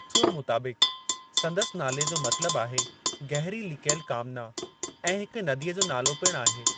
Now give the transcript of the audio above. बासुअ मुताबिक़, संदसि नाले जो मतलबु आहे गहरी लिकियलु कामना ऐं हिक नदीअ जो नालो पिणु आहे।